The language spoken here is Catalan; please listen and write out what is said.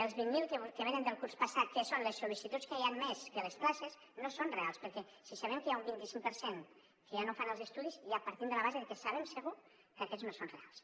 els vint mil que venen del curs passat que són les sol·licituds que hi han més que les places no són reals perquè si sabem que hi ha un vinti cinc per cent que ja no fan els estudis ja partim de la base de que sabem segur que aquests no són reals